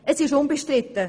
Es ist unbestritten: